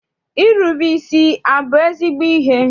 Irube isi abụ ezigbo ihe?